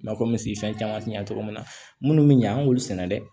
Nakɔmisifɛn caman tɛ ɲɛ cogo min na minnu bɛ ɲɛ an b'olu sɛnɛ dɛ